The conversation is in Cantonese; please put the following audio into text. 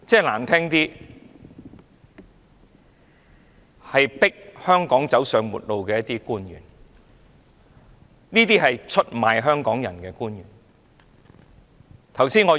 難聽的說法，他是迫香港走上末路的官員，出賣香港人的官員。